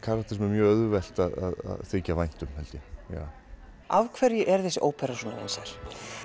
mjög auðvelt að láta þykja vænt um hann af hverju er þessi ópera svona vinsæl